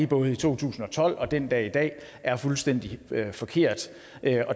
både i to tusind og tolv og den dag i dag er fuldstændig forkert